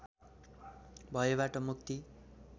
भयबाट मुक्ति